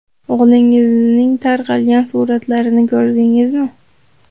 O‘g‘lingizning tarqalgan suratlarini ko‘rdingizmi?